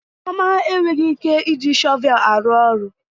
Chioma enweghị ike iji shọvel aru oru